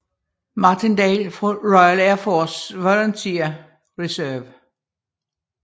Martindale fra Royal Air Force Volunteer Reserve